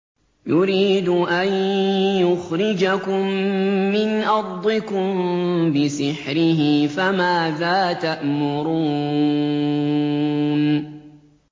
يُرِيدُ أَن يُخْرِجَكُم مِّنْ أَرْضِكُم بِسِحْرِهِ فَمَاذَا تَأْمُرُونَ